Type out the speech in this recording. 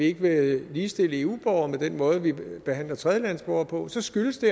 ikke vil ligestille eu borgere med den måde vi behandler tredjelandes borgere på så skyldes det